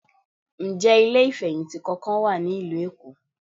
Ǹjẹ́ ilé ìfẹ̀hìntì kankan wà ní ìlú Èkó?